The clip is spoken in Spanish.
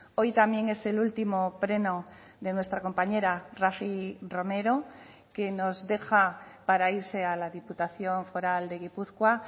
hoy también es el último pleno de nuestra compañera rafi romero que nos deja para irse a la diputación foral de gipuzkoa